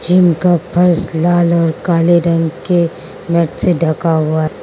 जिनका फर्श लाल और काले रंग के मेट से ढका हुआ है।